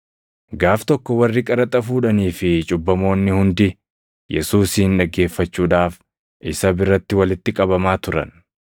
Gaaf tokko warri qaraxa fuudhanii fi cubbamoonni hundi Yesuusin dhaggeeffachuudhaaf isa biratti walitti qabamaa turan.